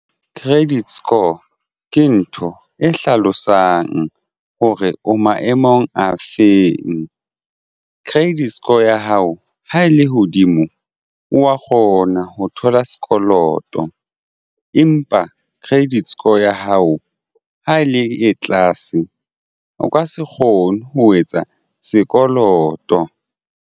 Credit score ke ntho e hlalosang hore o maemong a feng. Credit score ya hao ha e le hodimo wa kgona ho thola sekoloto empa credit score ya hao ha e le tlase o ka se kgone ho etsa sekoloto.